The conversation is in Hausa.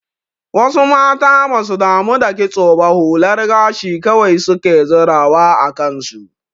Wasu mata basu damu da kitso ba hular gashi kawai suke zirawa a kansu.